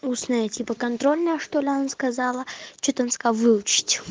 устная типа контрольная что-ли она сказала что-то она сказала выучить